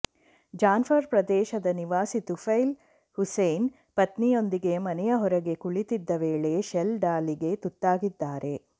ಜಾನ್ಘರ್ ಪ್ರದೇಶದ ನಿವಾಸಿ ತುಫೈಲ್ ಹುಸೇನ್ ಪತ್ನಿಯೊಂದಿಗೆ ಮನೆಯ ಹೊರಗೆ ಕುಳಿತಿದ್ದ ವೇಳೆ ಶೆಲ್ ದಾಳಿಗೆ ತುತ್ತಾಗಿದ್ದಾರೆ